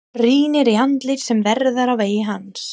Rýnir í andlit sem verða á vegi hans.